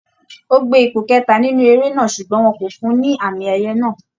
Ó gbé ipò kẹta nínú eré náà ṣùgbọ́n wọn kò fún un ní àmì ẹ̀yẹ náà